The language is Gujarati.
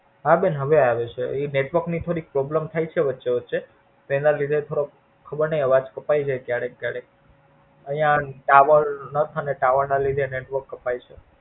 હા બેન હવે આવે છે. Network ની Problem થઇ ચાર વચ્ચે વચ્ચે તેના લીધે ખબર નઈ આવાજ કપાઈ છે ક્યારેક ક્યારેક આઇયા Tower નતો ને આઇયા Tower ના લીધે આવાજ કપાઈ છે.